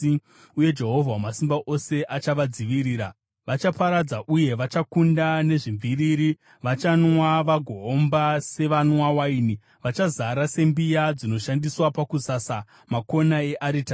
Uye Jehovha Wamasimba Ose achavadzivirira. Vachaparadza uye vachakunda nezvimviriri. Vachanwa vagoomba sevanwa waini; vachazara sembiya dzinoshandiswa pakusasa makona earitari.